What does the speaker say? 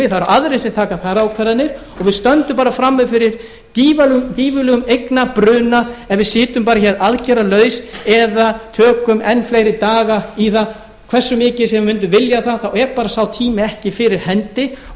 eru aðrir sem taka þar ákvarðanir og við stöndum bara frammi fyrir gífurlegum eignabruna ef við sitjum bara hér aðgerðalaus eða tökum enn fleiri daga í það hversu mikið sem við mundum vilja það þá er bara sá tími ekki fyrir hendi og